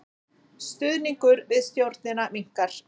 Stuðningur við stjórnina minnkar